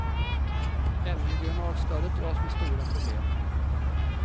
Även regionalstödet dras med stora problem.